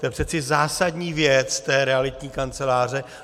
To je přeci zásadní věc té realitní kanceláře.